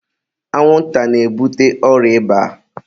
anwụnta na-ebute ọrịa ịba